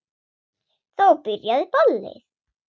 Þá byrjaði ballið.